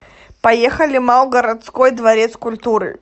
поехали мау городской дворец культуры